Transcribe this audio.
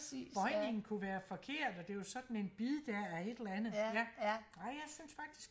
bøjningen kunne være forkert og det var sådan en bid der af et eller andet ja ej jeg synes faktiak